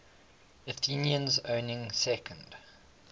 athenians owning second